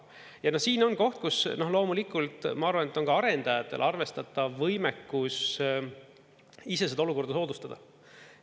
Ja siin on koht, kus loomulikult, ma arvan, on ka arendajatel arvestatav võimekus ise seda olukorda soodustada.